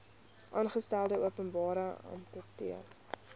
aangestelde openbare amptenaar